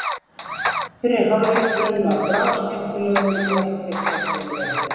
Fyrri hálfleikurinn var bráð skemmtilegur og ekkert var gefið eftir.